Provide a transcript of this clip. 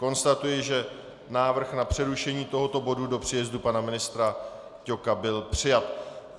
Konstatuji, že návrh na přerušení tohoto bodu do příjezdu pana ministra Ťoka byl přijat.